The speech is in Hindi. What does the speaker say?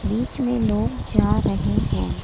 बीच में लोग जा रहे हैं।